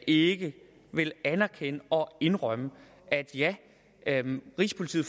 ikke vil anerkende og indrømme at ja rigspolitiet